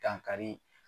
Dankari